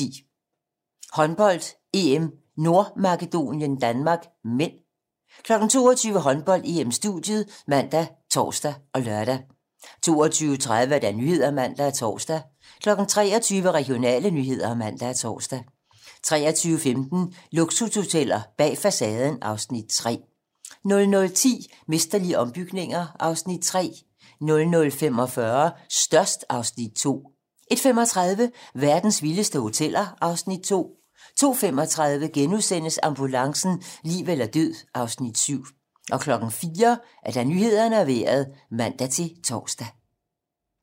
21:10: Håndbold: EM - Nordmakedonien-Danmark (m) 22:00: Håndbold: EM-studiet ( man, tor, lør) 22:30: Nyhederne (man og tor) 23:00: Regionale nyheder (man og tor) 23:15: Luksushoteller bag facaden (Afs. 3) 00:10: Mesterlige ombygninger (Afs. 3) 00:45: Størst (Afs. 2) 01:35: Verdens vildeste hoteller (Afs. 2) 02:35: Ambulancen - liv eller død (Afs. 7)* 04:00: Nyhederne og Vejret (man-tor)